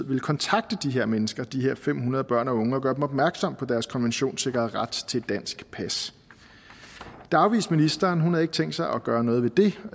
ville kontakte de her mennesker de her fem hundrede børn og unge og gøre dem opmærksom på deres konventionssikrede ret til et dansk pas det afviste ministeren hun havde ikke tænkt sig at gøre noget ved det